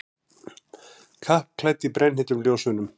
Kappklædd í brennheitum ljósunum.